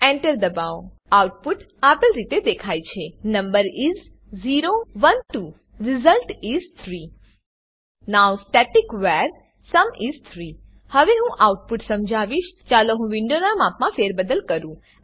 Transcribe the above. Enter દબાવો output આપેલ રીતે દેખાય છે number is 0 1 2 result is 3 now static var sum is 3 હવે હું આઉટપુટ સમજાવીશ ચાલો હું વિન્ડોનાં માપમાં ફેરબદલ કરું